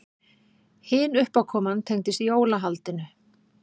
Hin uppákoman tengdist jólahaldinu.